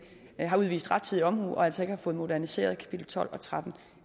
har udvist rettidig omhu og altså ikke har fået moderniseret kapitel tolv og tretten